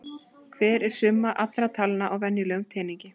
Hver er summa allra talna á venjulegum teningi?